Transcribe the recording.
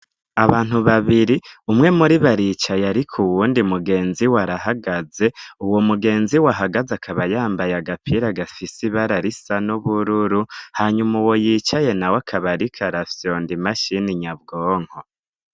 Abantu babiri umwe muribo aricaye ariko uwundi mugenziwe arahagaze uwomugenziwe ahagaze akaba yambaye agapira gifise ibara risa n'ubururu hanyuma uwo yicaye nawe akaba ariko arafyond'imashini nyabwonko.